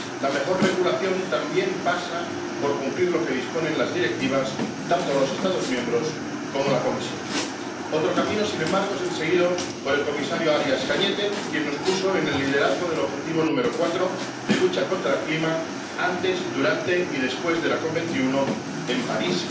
La mejor regulación también pasa por cumplir lo que disponen las Directivas, tanto los Estados miembros como la Comisión. Otro camino, sin embargo, es el seguido por el comisario Arias Cañete, quien nos puso en posición de liderazgo del objetivo número 4, de lucha contra el cambio climático, antes, durante y después de la COP 21 en París.